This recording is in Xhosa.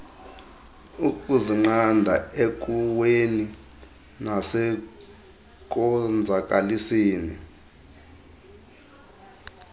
ukuzinqanda ekuweni nasekonzakaliseni